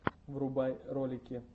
врубай ролики